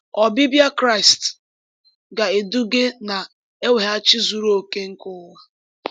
Ọbịbịa Kraịst ga-eduga na mweghachi zuru oke nke ụwa.